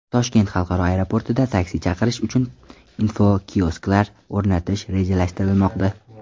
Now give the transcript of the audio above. Toshkent xalqaro aeroportida taksi chaqirish uchun infokiosklar o‘rnatish rejalashtirilmoqda.